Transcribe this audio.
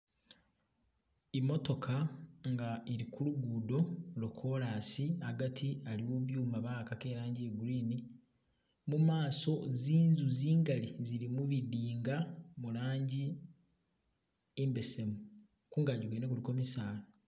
Imotoka nga'ilikulugudo lwo' chorus agati aliwo'byuma bawakako iranjii ya'green mumaso nziintsu nziingali tsili'mubindinga Mulanjii imbesemu kuungakyi'kwene kuliko bisala